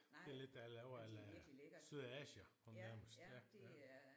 Det lidt det jeg laver a la syltede asier om nærmest ja ja